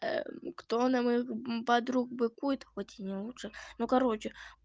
кто на моих подруг быкует хоть я не лучше ну короче